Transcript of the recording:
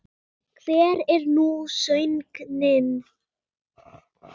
Hver er nú sögnin?